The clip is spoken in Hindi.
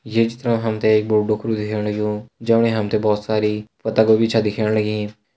ये चित्र में हम्थे एक बाड़ू डोकुरु दिख्याणा लग्युं जेमा हम्थे बहुत सारी पत्ता गोबी च दिख्याणी लगीं।